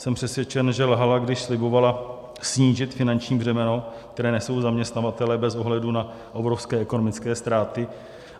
Jsem přesvědčen, že lhala, když slibovala snížit finanční břemeno, které nesou zaměstnavatelé bez ohledu na obrovské ekonomické ztráty.